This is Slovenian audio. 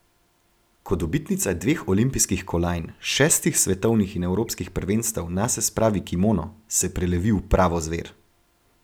Ko dobitnica dveh olimpijskih kolajn, šestih s svetovnih in evropskih prvenstev nase spravi kimono, se prelevi v pravo zver.